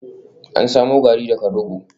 An samo Garri daga rogo